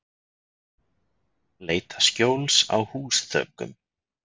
Leita skjóls á húsþökum